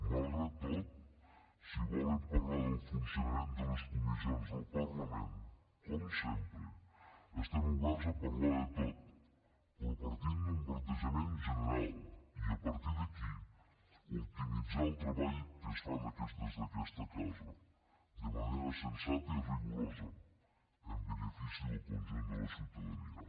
malgrat tot si volen parlar del funcionament de les comissions del parlament com sempre estem oberts a parlar de tot però partint d’un plantejament general i a partir d’aquí optimitzar el treball que es fa des d’aquesta casa de manera sensata i rigorosa en benefici del conjunt de la ciutadania